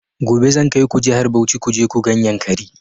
Gobe zan kaiku jihar Bauchi kuje ku gan yankari